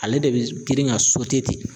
Ale de be girin ka ten.